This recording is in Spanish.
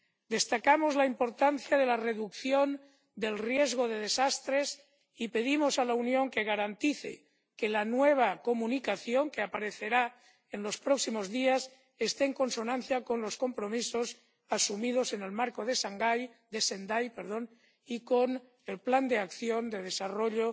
Destacamos la importancia de la reducción del riesgo de desastres y pedimos a la Unión que garantice que la nueva Comunicación, que aparecerá en los próximos días, esté en consonancia con los compromisos asumidos en el Marco de Sendai y con el Plan de acción de desarrollo